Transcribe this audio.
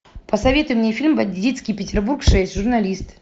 посоветуй мне фильм бандитский петербург шесть журналист